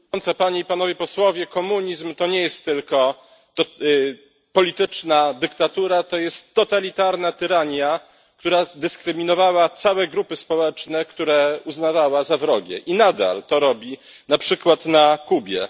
Pani Przewodnicząca! Panie i Panowie Posłowie! Komunizm to nie tylko polityczna dyktatura, to jest totalitarna tyrania, która dyskryminowała całe grupy społeczne, które uznawała za wrogie, i nadal to robi na przykład na Kubie.